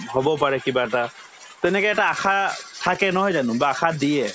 হবও পাৰে কিবা এটা তেনেকে এটা আশা থাকে নহয় জানো বা আশা দিয়ে